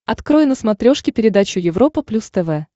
открой на смотрешке передачу европа плюс тв